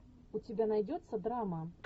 у тебя найдется драма